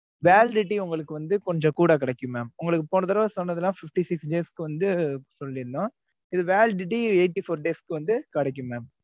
validity உங்களுக்கு வந்து கொஞ்சம் கூட கிடைக்கும் mam உங்களுக்கு போனதடவ சொன்னதுலா fifty six days க்கு வந்து சொல்லீருந்தோம். இது validity eighty four days க்கு வந்து கிடைக்கும் mam